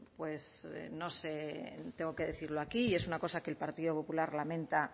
pues no sé tengo que decirlo aquí y es una cosa que el partido popular lamenta